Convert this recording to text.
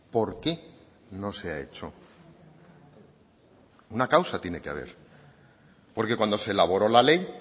por qué no se ha hecho una causa tiene que haber porque cuando se elaboró la ley